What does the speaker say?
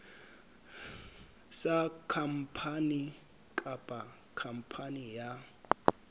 sa khampani kapa khampani ya